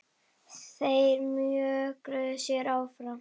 Þeir mjökuðu sér áfram.